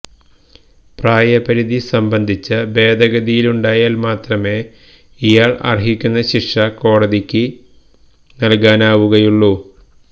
പ്രായപരിധി സംബന്ധിച്ച ഭേദഗതിയുണ്ടായാല് മാത്രമേ ഇയാള് അര്ഹിക്കുന്ന ശിക്ഷ കോടതിക്ക് നല്കാനാവുകയുള്ളു